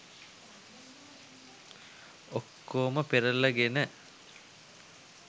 ඔක්කෝම පෙරලගෙන